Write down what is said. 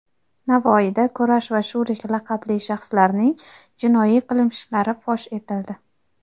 Navoiyda "Kurash" va "Shurik" laqabli shaxslarning jinoiy qilmishlari fosh etildi.